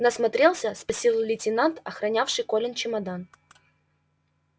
насмотрелся спросил лейтенант охранявший колин чемодан